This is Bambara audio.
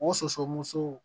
O sosomusow